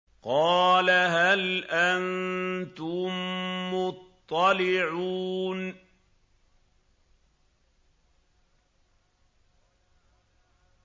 قَالَ هَلْ أَنتُم مُّطَّلِعُونَ